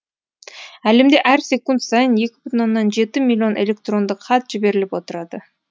әлемде әр секунд сайын екі бүтін оннан жеті миллион электрондық хат жіберіліп отырады